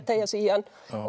teygja sig í hann